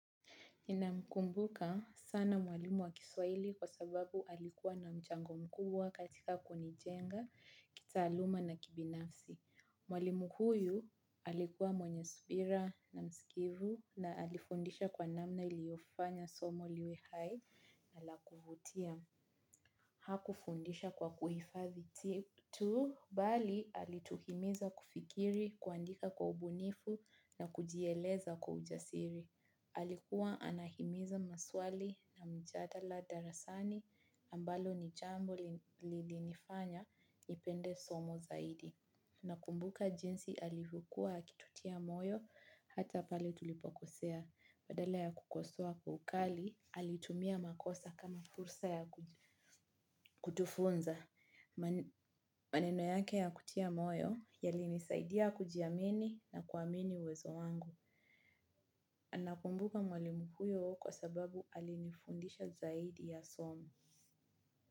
Nina mkumbuka sana mwalimu wa kiswaili kwa sababu alikuwa na mchango mkubwa katika kunijenga, kitaaluma na kibinafsi. Mwalimu huyu alikuwa mwenye subira na msikivu na alifundisha kwa namna iliofanya somo liwe hai na la kuvutia. Hakufundisha kwa kuhifadhi tu bali alituhimiza kufikiri, kuandika kwa ubunifu na kujieleza kwa ujasiri. Alikuwa anahimiza maswali na mjadala darasani ambalo ni jambo lilinifanya nipende somo zaidi. Nakumbuka jinsi alivokuwa akitutia moyo hata pale tulipokosea. Badala ya kukosoa kwa ukali, alitumia makosa kama fursa ya kutufunza. Maneno yake ya kutia moyo yalinisaidia kujiamini na kuamini uwezo wangu. Nakumbuka mwalimu huyo kwa sababu alinifundisha zaidi ya somo.